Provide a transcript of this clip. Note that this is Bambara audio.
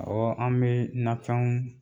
Ɔwɔ an bɛ nafɛnw